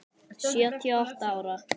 Sjötíu og átta ára.